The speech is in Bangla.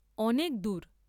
অনেক দূর।